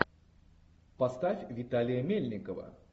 поставь виталия мельникова